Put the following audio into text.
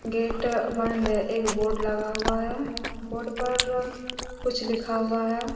Gate बंद एक board लगा हुआ हैं बोर्ड पर कुछ लिखा हुआ हैं।